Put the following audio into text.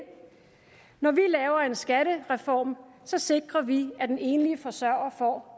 når vi laver en skattereform så sikrer vi at den enlige forsørger får